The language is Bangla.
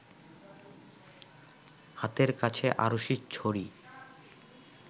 হাতের কাছে আড়শিছড়ি